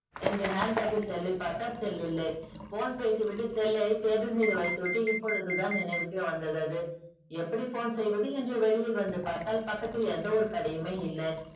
என்று hand bag இல் cell லை பார்த்தால் cell இல்லை. phone பேசி விட்டு cell லை table மீது வைத்து விட்டு இப்போது தான் நினைவுக்கே வந்தது. அது எப்படி phone செய்வது என்று வெளியில் வந்து பார்த்தால் பக்கத்தில் எந்த ஒரு கடையுமே இல்லை.